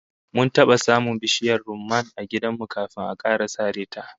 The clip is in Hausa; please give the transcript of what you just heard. Mun taba samun bishiyar rumman a gidan mu kafin aka sare ta